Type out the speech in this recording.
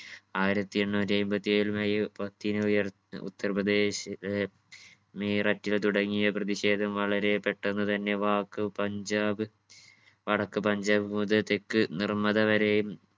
ആയിരത്തി എണ്ണൂറ്റി അയ്മ്പത്തി ഏഴിൽ മെയ് പത്തിനു ഉയർ ഉത്തർപ്രദേശ് ഏർ മീററ്റ്ലെ തുടങ്ങിയ പ്രധിഷേധം വളരെ പെട്ടന്ന് തന്നെ വാക്ക് പഞ്ചാബ് വടക്ക് പഞ്ചാബ് മുതൽ തെക്ക് നിർമദ വരെയും